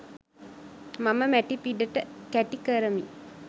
මම මැටි පිඩට කැටි කරමි